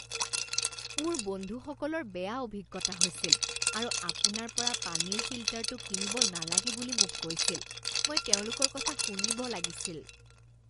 মোৰ বন্ধুসকলৰ বেয়া অভিজ্ঞতা হৈছিল আৰু আপোনাৰ পৰা পানীৰ ফিল্টাৰটো কিনিব নালাগে বুলি মোক কৈছিল। মই তেওঁলোকৰ কথা শুনিব লাগিছিল।